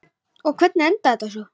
Og hvernig endaði þetta svo?